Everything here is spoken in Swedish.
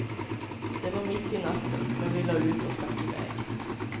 Det var mitt i natten, men vi lade ut och stack iväg.